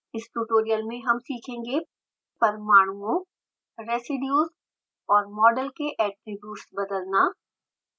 इस ट्यूटोरियल में हम सीखेंगे परमाणुओं रेसीड्यूज़ और मॉडल्स के ऐट्रिब्यूट्स बदलना